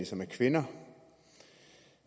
som er kvinder